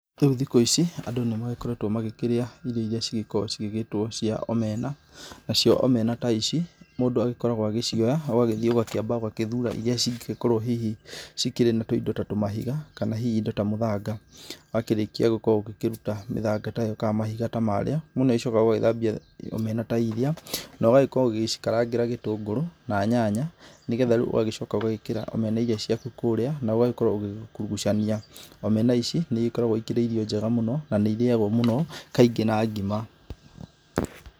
Rĩu thikũ ici, andũ nĩ magĩkoretwo magĩkĩrĩa irio iria cigĩkorwo cigĩgĩtwo cia omena, na cio omena ta ici, mundũ agĩkoragwa agĩcioya ũgagĩthiĩ ũgakĩamba ũgagĩthura iria cingĩkorwo hihi cikĩrĩ na tũindo ta tũmahiga kana hihi indo ta mũthanga. Wakĩrĩkia gũkorwo ũgĩkĩruta mĩthanga ta ĩyo kana mahiga ta maarĩa, mũndũ nĩ agĩcokaga gugĩthambia omena ta iria, na ũgagĩkorwo ũgicikarangĩra gĩtũngũrũ na nyaya, nĩ getha rĩu ũgagĩcoka ũgagĩĩkira omena iria ciaku kũũria na ũgagĩkorwo ũgĩgĩkurugucania, omena ici, nĩ igĩkoragwo ikĩrĩ irio njega mũno, na nĩ irĩagwo mũno kaingĩ na ngima.